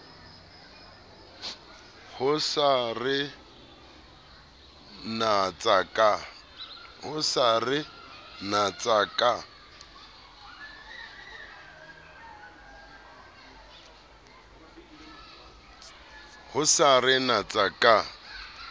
o sa re natsa ka